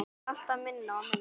Þó alltaf minna og minna.